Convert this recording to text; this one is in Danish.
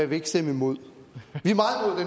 vil stemme imod